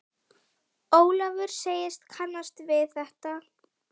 Ólafur segist kannast við þetta.